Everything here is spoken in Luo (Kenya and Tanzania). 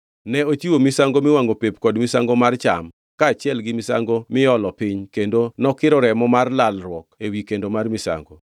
Ne ochiwo misango miwangʼo pep kod misango mar cham, kaachiel gi misango miolo piny kendo nokiro remo mar lalruok ewi kendo mar misango.